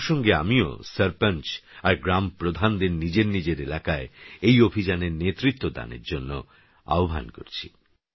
এইপ্রসঙ্গেআমিওসরপঞ্চআরগ্রামপ্রধানদেরনিজেরনিজেরএলাকায়এইঅভিযানেরনেতৃত্বদানেরজন্যআহ্বানকরছি